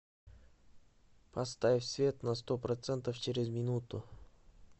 поставь свет на сто процентов через минуту